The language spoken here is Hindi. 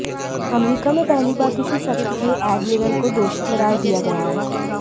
अमरीका में पहली बार किसी सक्रिय एडमिरल को दोषी क़रार दिया गया है